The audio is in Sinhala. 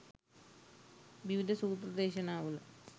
විවිධ සූත්‍ර දේශනා වල